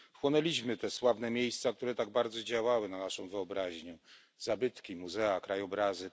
Chłonęliśmy te sławne miejsca, które tak bardzo działały na naszą wyobraźnię zabytki, muzea, krajobrazy.